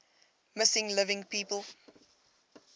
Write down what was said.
missing living people